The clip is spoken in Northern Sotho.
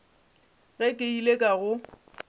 ge ke ile ka go